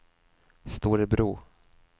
Storebro